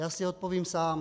Já si odpovím sám: